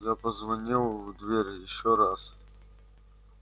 я позвонил в дверь ещё раз